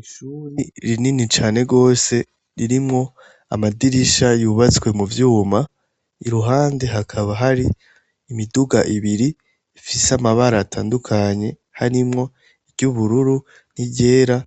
Ishuri rinini cane rwose ririmwo amadirisha yubatswe mu vyuma i ruhande hakaba hari imiduga ibiri ifise amabara atandukanye harimwo iryoubururu n'iryera